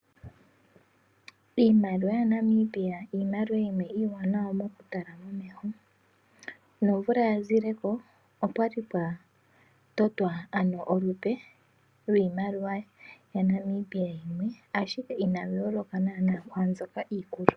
Iimaliwa ya Namibia Iimaliwa yimwe iiwanawa moku tala momeho. Nomvula ya zileko opwali pwa totwa olupe lwiimaliwa ya Namibia yimwe, ashike inayi yooloka naana kwaa iikulu.